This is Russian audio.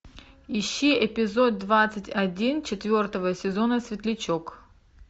ищи эпизод двадцать один четвертого сезона светлячок